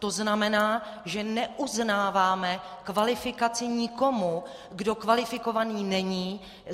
To znamená, že neuznáváme kvalifikaci někomu, kdo kvalifikovaný není.